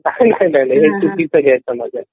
नाही नाही हा चुकीचा समज आहे